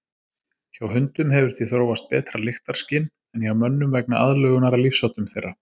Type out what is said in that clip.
Hjá hundum hefur því þróast betra lyktarskyn en hjá mönnum vegna aðlögunar að lífsháttum þeirra.